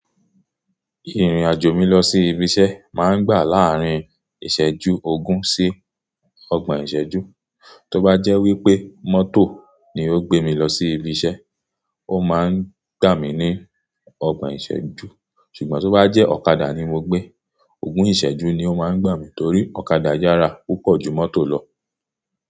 Ìrìn-àjò mi lọ sí ibi iṣẹ́ máa ń gbà láàrin ìṣẹ́jú ogún sí ọgbọ̀n ìṣẹ́jú. Tí ó bá jẹ́ wípé mọ́tò ni ó gbé mi lọ sí ibi iṣẹ́, ó máa ń gbà mí ní ọgbọ̀n ìṣẹ́jú. Ṣùgbọ́n tí ó bá jẹ́ ọ̀kadà ni mo gbé, ogún ìṣẹ́jú ni ó máa ń gbà mí torí ọ̀kadà yára púpọ̀ ju mọ́tò lọ.